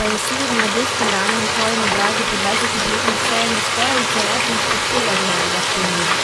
pa je sled mladostne rane na tvojem obrazu po dvajsetih letih vseeno skoraj v celoti izpuhtela iz mojega spomina!